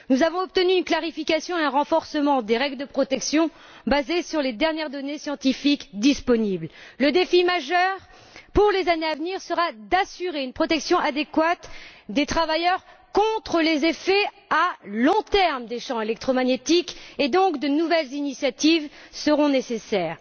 Nous avons obtenu une clarification et un renforcement des règles de protection basées sur les dernières données scientifiques disponibles. Le défi majeur pour les années à venir sera d'assurer une protection adéquate des travailleurs contre les effets à long terme des champs électromagnétiques et, donc, de nouvelles initiatives seront nécessaires.